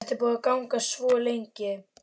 Þetta er búið að vera í gangi svo lengi.